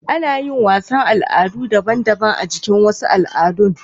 Anayin wasan Al'adu daban daban a jikin wasan al'adu